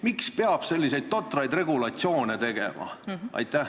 Miks peab selliseid totraid regulatsioone tegema?